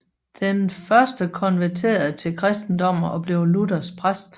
Den første konverterede til kristendommen og blev luthersk præst